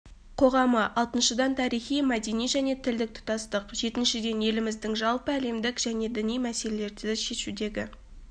қоғамы алтыншыдан тарихи мәдени және тілдік тұтастық жетіншіден еліміздің жалпы әлемдік және діни мәселелерді шешудегі